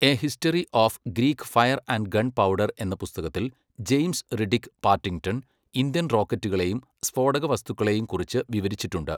A history of Greek fire and gunpowder എന്ന പുസ്തകത്തിൽ James Riddick Partington Indian റോക്കറ്റുകളെയും സ്ഫോടകവസ്തുക്കളെയും കുറിച്ച് വിവരിച്ചിട്ടുണ്ട്.